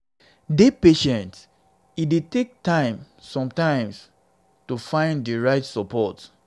dey patient e dey take time time sometimes to find di right support